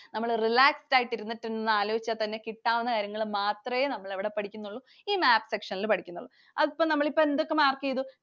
നമ്മൾ relaxed ആയിട്ട് ഇരുന്നിട്ട് ആലോചിച്ചാൽ തന്നെ കിട്ടാവുന്ന കാര്യങ്ങൾ മാത്രേ നമ്മൾ എവിടെ പഠിക്കുന്നുള്ളു. ഈ map section ൽ പഠിക്കുന്നുള്ളു. അതിപ്പോ നമ്മൾ എന്തൊക്കെ mark ചെയ്തു?